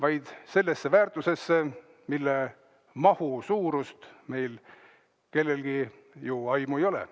Nende meil kellelgi aimu ei ole.